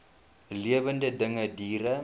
lewende dinge diere